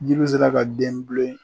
Jiri sera ka den bilen